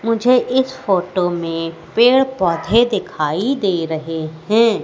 मुझे इस फोटो में पेड़ पौधे दिखाई दे रहे हैं।